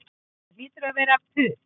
Það hlýtur að hafa verið puð